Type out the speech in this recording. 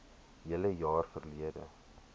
hele jaar verlede